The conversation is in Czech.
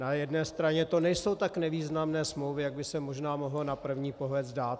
Na jedné straně to nejsou tak nevýznamné smlouvy, jak by se možná mohlo na první pohled zdát.